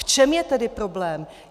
V čem je tedy problém?